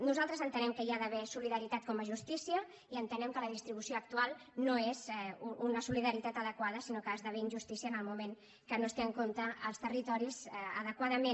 nosaltres entenem que hi ha d’haver solidaritat com a justícia i entenem que la distribució actual no és una solidaritat adequada sinó que esdevé injustícia en el moment en què no es tenen en compte els territoris adequadament